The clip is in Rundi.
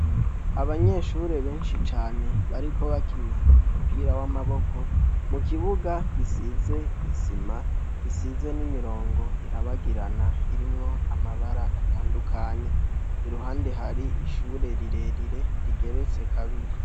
Abanyeshure benshi cane bariko bakina umupira w'amaboko, mu kibuga gisize isima, gisize n'imirongo irabagirana irimwo amabara atandukanye. Iruhande hari ishure rirerire rigeretse kabiri.